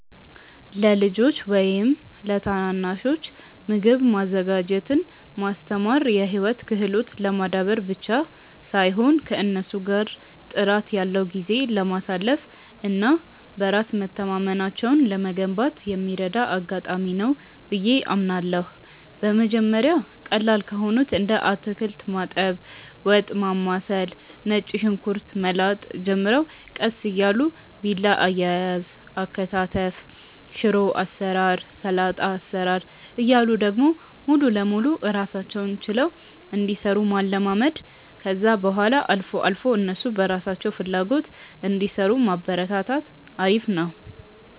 ለልጆች ወይም ለታናናሾች ምግብ ማዘጋጀትን ማስተማር የህይወት ክህሎትን ለማዳበር ብቻ ሳይሆን ከእነሱ ጋር ጥራት ያለው ጊዜ ለማሳለፍ እና በራስ መተማመናቸውን ለመገንባት የሚረዳ አጋጣሚ ነው ብዬ አምናለሁ። በመጀመሪያ ቀላል ከሆኑት እንደ አታክልት ማጠብ፣ ወጥ ማማሰል፣ ነጭ ሽንኩርት መላጥ ጀምረው ቀስ እያሉ ቢላ አያያዝ፣ አከታተፍ፣ ሽሮ አሰራር፣ ሰላጣ አሰራር እያሉ ደግሞ ሙሉ ለሙሉ ራሳቸውን ችለው እንዲሰሩ ማለማመድ፣ ከዛ በኋላ አልፎ አልፎ እነሱ በራሳቸው ፍላጎት እንዲሰሩ ማበረታታት አሪፍ ነው።